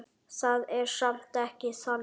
Það er samt ekki þannig.